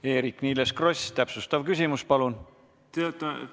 Eerik-Niiles Kross, täpsustav küsimus, palun!